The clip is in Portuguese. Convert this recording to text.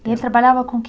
E ele trabalhava com o quê?